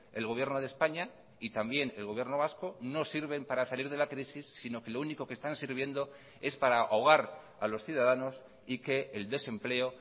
el gobierno de españa y también el gobierno vasco no sirven para salir de la crisis sino que lo único que están sirviendo es para ahogar a los ciudadanos y que el desempleo